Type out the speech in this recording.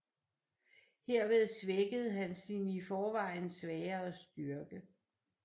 Herved svækkede han sin i forvejen svagere styrke